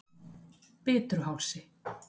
Bitruhálsi